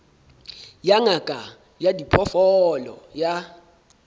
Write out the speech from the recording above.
ya ngaka ya diphoofolo ya